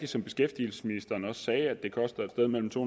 som beskæftigelsesministeren også sagde at det koster et sted mellem to